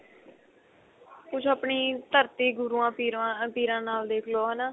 ਕੁੱਝ ਆਪਣੀ ਧਰਤੀ ਗੁਰੂਆਂ ਪੀਰਾਂ ਪੀਰਾਂ ਨਾਲ ਦੇਖ ਲੋ ਹਨਾ